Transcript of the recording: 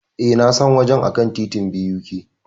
E, Na san wajen a kan titin BUK.